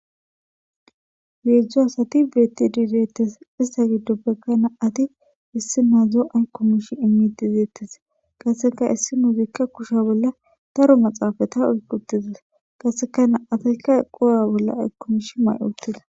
heedzdzu asati beettidi deettes ista giddoppekka naati issi mazdzo aykomish mitizeettis qaseka issi nu biikka kusha bolla daro maxaafata uygutizis qaseka na7atayka equwa bolla aykkomish may7uttida